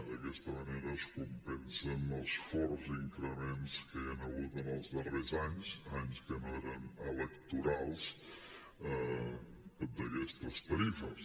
d’aquesta manera es compensen els forts increments que hi han hagut en els darrers anys anys que no eren electorals d’aquestes tarifes